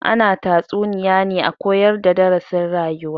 Ana tatsuniya ne a koyar da darasin rayuwa